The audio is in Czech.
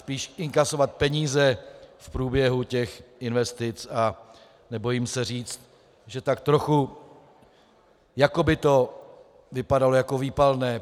Spíš inkasovat peníze v průběhu těch investic a nebojím se říct, že tak trochu jako by to vypadalo jako výpalné.